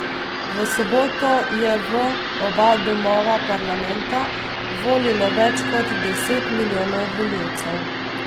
V soboto je v oba domova parlamenta volilo več kot deset milijonov volivcev.